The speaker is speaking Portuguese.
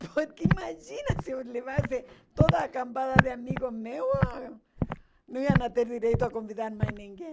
Porque imagina se eu levasse toda a cambada de amigos meus, não iam ter direito a convidar mais ninguém.